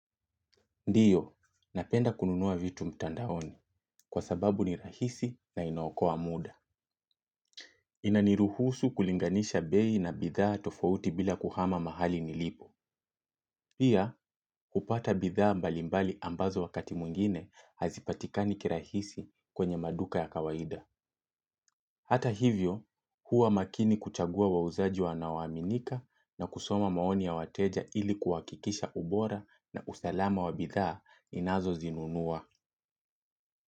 Ndiyo, napenda kununua vitu mtandaoni, kwa sababu ni rahisi na inaokoa mda. Inaniruhusu kulinganisha bei na bidhaa tofauti bila kuhama mahali nilipo. Pia, kupata bidhaa mbali mbali ambazo wakati mwingine hazipatikani kirahisi kwenye maduka ya kawaida. Hata hivyo, huwa makini kuchagua wauzaji wanaoaminika na kusoma maoni ya wateja ili kuhakikisha ubora na usalama wa bidhaa ninazo zinunuwa.